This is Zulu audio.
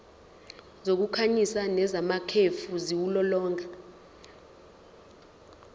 zokukhanyisa nezamakhefu ziwulolonga